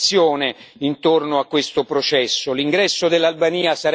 C'è una grande partecipazione intorno a questo processo.